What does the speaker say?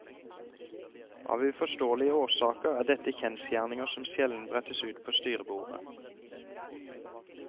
Av uforståelige årsaker er dette kjensgjerninger som sjelden brettes ut på styrebordet.